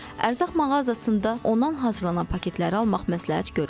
Ərzaq mağazasında ondan hazırlanan paketləri almaq məsləhət görülmür.